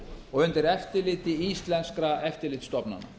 og undir eftirliti íslenskra eftirlitsstofnana